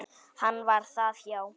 Hann var það, já.